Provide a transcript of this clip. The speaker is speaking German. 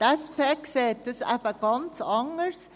Die SP sieht dies eben ganz anders.